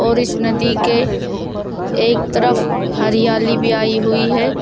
और इस नदी के एक तरफ हरियाली भी आई हुई है।